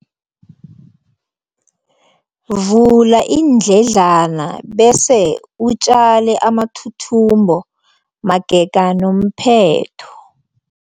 Vula iindledlana bese utjale amathuthumbo magega nomphetho.